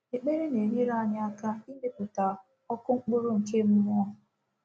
Ekpere na-enyere anyị aka ịmepụta “ọkụ mkpụrụ nke mmụọ.”